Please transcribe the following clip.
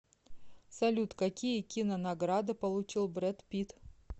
салют какие кинонаграды получил брэд питт